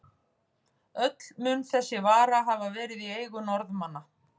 Öll mun þessi vara hafa verið í eigu Norðmanna.